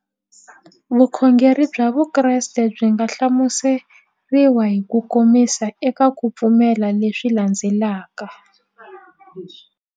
Vukhongeri bya Vukreste byi nga hlamuseriwa hi kukomisa eka ku pfumela leswi landzelaka.